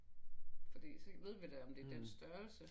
Fordi så ved vi da om det er den størrelse